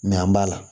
an b'a la